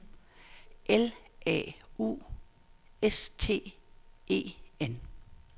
L A U S T E N